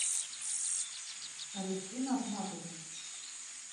алевтина ахматовна